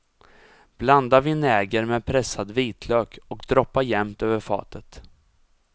Blanda vinäger med pressad vitlök och droppa jämnt över fatet.